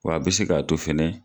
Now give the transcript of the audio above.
Wa a be se ka to fɛnɛ